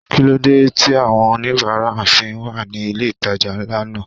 Kíló dé tí àwọn oníbárà fi wà ní ilé ìtajà ńlá náà?